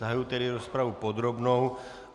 Zahajuji tedy rozpravu podrobnou.